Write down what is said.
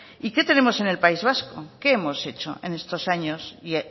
y que tenemos en el país vasco qué hemos hecho en estos años y